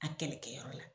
A kɛlɛkɛyɔrɔ la